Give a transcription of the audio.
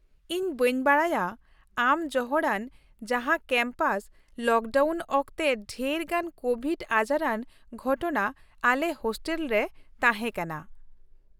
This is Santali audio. ᱤᱧ ᱵᱟᱹᱧ ᱵᱟᱰᱟᱭᱟ ᱟᱢ ᱡᱚᱦᱚᱲᱟᱱ ᱡᱟᱦᱟᱸ ᱠᱮᱢᱯᱟᱥ ᱞᱚᱠᱰᱟᱣᱩᱱ ᱚᱠᱛᱮ ᱰᱷᱮᱨᱜᱟᱱ ᱠᱳᱵᱷᱤᱰ ᱟᱡᱟᱨᱟᱱ ᱜᱷᱚᱴᱚᱱᱟ ᱟᱞᱮ ᱦᱳᱥᱴᱮᱞ ᱨᱮ ᱛᱟᱦᱮᱸ ᱠᱟᱱᱟ ᱾